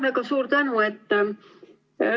Väga suur tänu!